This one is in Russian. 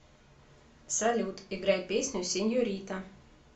салют играй песню сеньорита